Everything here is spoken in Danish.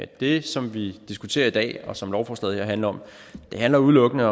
det som vi diskuterer i dag og som lovforslaget her handler om er udelukkende